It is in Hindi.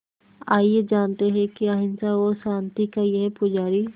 आइए जानते हैं कि अहिंसा और शांति का ये पुजारी